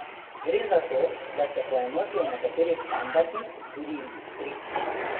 Gre za to, da se poenotijo nekateri standardi, tudi industrijski.